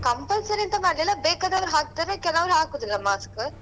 Compulsory ಎಂತ ಮಾಡ್ಲಿಲ್ಲ ಬೇಕಾದವ್ರ್ ಹಾಕ್ತಾರೆ ಕೆಲವ್ರ್ ಹಾಕುದಿಲ್ಲ mask.